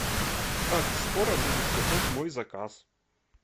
как скоро будет готов мой заказ